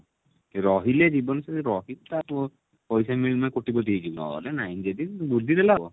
ସେ ରହିଲେ ଜୀବନ ସାରା ରହିପାରିବ ପଇସା ମିଳିଲେ କୋଟିପତି ହେଇଯିବ ନହେଲେ ନାଇଁ ଯଦି ବୁଝିଦେଲେ ହବ